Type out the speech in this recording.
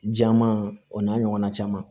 Jama o n'a ɲɔgɔnna caman